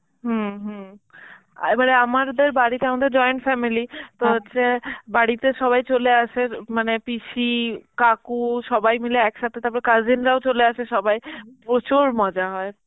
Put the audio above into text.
হম হম আ এবারে আমারদের বাড়িতে~ আমাদের joint family, তো যে বাড়িতে সবাই চলে আসে, এর মানে পিসি, কাকু সবাই মিলে একসাথে তারপরে cousin রাও চলে আসে সবাই, প্রচুর মজা হয়.